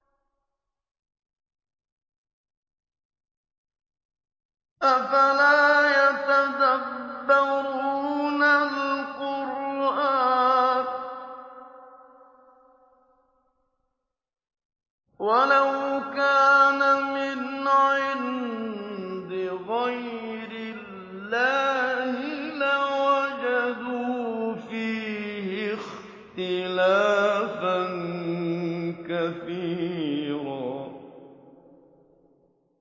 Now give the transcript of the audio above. أَفَلَا يَتَدَبَّرُونَ الْقُرْآنَ ۚ وَلَوْ كَانَ مِنْ عِندِ غَيْرِ اللَّهِ لَوَجَدُوا فِيهِ اخْتِلَافًا كَثِيرًا